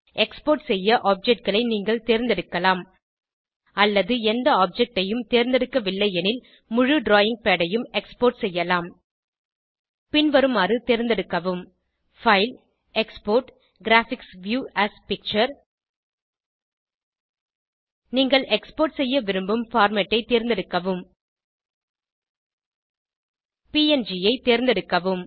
export செய்ய Objectகளை நீங்கள் தேர்ந்தெடுக்கலாம் அல்லது எந்த objectஐயும் தேர்ந்தெடுக்கவில்லை எனில் முழு டிராவிங் பாட் ஐயும் எக்ஸ்போர்ட் செய்யலாம் பின்வருமாறு தேர்ந்தெடுக்கவும் பைல்க்ட்க்ட் எக்ஸ்போர்ட்ஜிடிஜிட் கிராபிக்ஸ் வியூ ஏஎஸ் பிக்சர் நீங்கள் எக்ஸ்போர்ட் செய்ய விரும்பு பார்மேட் ஐ தேர்ந்தெடுக்கவும் ப்ங் ஐ தேர்ந்தெடுக்கவும்